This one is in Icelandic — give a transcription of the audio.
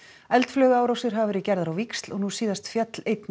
eldflaugaárásir hafa verið gerðar á víxl og nú síðast féll einn